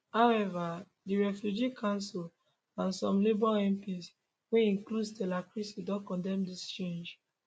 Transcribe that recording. however di refugee council and some labour mps wey include stella creasy don condemn dis change